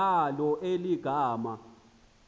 ngalo eli gama